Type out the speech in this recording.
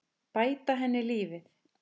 Bæta henni lífið.